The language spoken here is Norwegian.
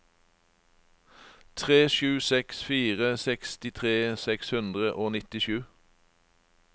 tre sju seks fire sekstitre seks hundre og nittisju